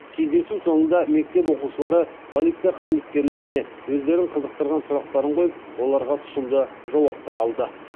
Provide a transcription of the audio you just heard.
кездесу соңында мектеп оқушылары полиция қызметкерлеріне өздерін қызықтырған сұрақтарын қойып оларға тұщымды жауаптар алды